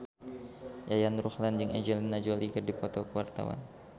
Yayan Ruhlan jeung Angelina Jolie keur dipoto ku wartawan